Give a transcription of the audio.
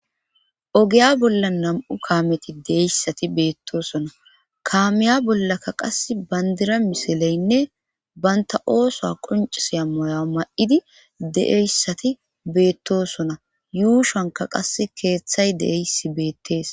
ogeya bolla nam7u kaameti deeyssati beettosona kaamiya bollaka qas bandira misileynne banta ooso qoncisiyamoya ma7idi deeyssati beettosona yuushanka qasse keeththay deysi beettees